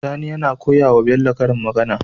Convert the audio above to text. Sani yAna koyawa Bello karin magAna